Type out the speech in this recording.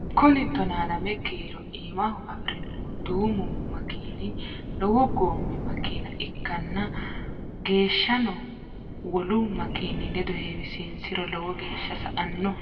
Kuni tona lame kiiro iimaho afirinnohu duumu makini lowo goommi makina ikkanna geeshsano wolu makini ledo heewisinsiro lowo geeshsa sa"anno.